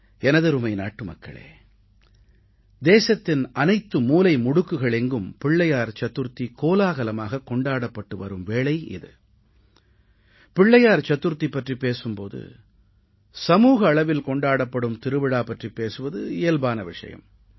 எனதருமை நாட்டுமக்களே தேசத்தின் அனைத்து மூலை முடுக்குகள் எங்கும் விநாயகர் சதுர்த்தி கோலாகலமாகக் கொண்டாடப்பட்டு வரும் வேளை இது விநாயகர் சதுர்த்தி பற்றிப் பேசும் போது சமூக அளவில் கொண்டாடப்படும் திருவிழா பற்றிப் பேசுவது இயல்பான விஷயம்